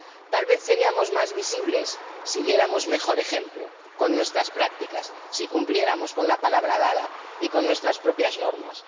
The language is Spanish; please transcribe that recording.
Tal vez seríamos más visibles si diéramos mejor ejemplo con nuestras prácticas, si cumpliéramos con la palabra dada y con nuestras propias normas.